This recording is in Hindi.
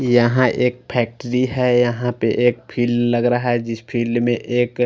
यहाँ एक फैक्ट्री है यहाँ पर एक फील्ड लग रहा है जिस फील्ड में एक --